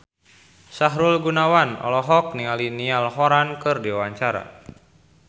Sahrul Gunawan olohok ningali Niall Horran keur diwawancara